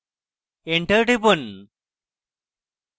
enter টিপুন